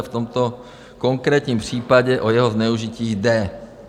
A v tomto konkrétním případě o jeho zneužití jde.